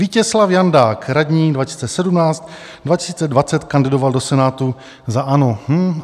Vítězslav Jandák - radní 2017, 2020 kandidoval do Senátu za ANO.